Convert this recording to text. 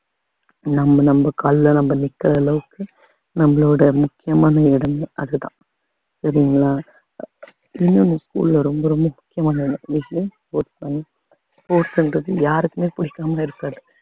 நம்ம நம்ம கால்ல நம்ம நிற்கிற அளவுக்கு நம்மளோட முக்கியமான இடமே அதுதான் சரிங்களா இன்னொன்னு school ல ரொம்ப ரொம்ப முக்கியமான ஒரு விஷயம் sports தாங்க sports ன்றது யாருக்குமே பிடிக்காம இருக்காது